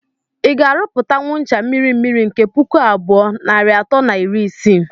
Ị ga - arụpụtanwụ ncha mmiri mmiri nke pụkụ abụọ nair atọ na iri isii